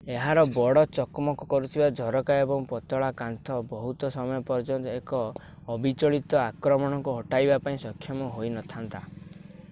ଏହାର ବଡ ଚକମକ କରୁଥିବା ଝରକା ଓ ପତଳା କାନ୍ଥ ବହୁତ ସମୟ ପର୍ଯ୍ୟନ୍ତ ଏକ ଅବିଚଳିତ ଆକ୍ରମଣକୁ ଅଟକାଇବା ପାଇଁ ସକ୍ଷମ ହୋଇନଥାନ୍ତା